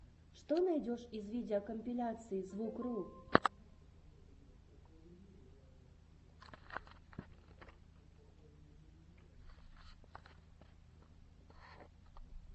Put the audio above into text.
что найдешь из видеокомпиляций звукру